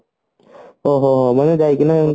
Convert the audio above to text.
ଓ ହୋ ହୋ ମାନେ ଯାଇକିନା